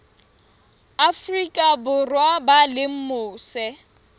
afrika borwa ba leng mose